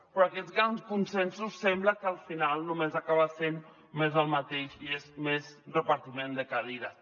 però aquests grans consensos sembla que al final només acaben sent més del mateix i és més repartiment de cadires